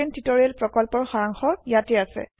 spoken tutorial প্ৰকল্পৰ সাৰাংশ ইয়াতে আছে